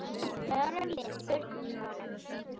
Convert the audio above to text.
Hægt er að lesa meira um seli í svörum við spurningunum: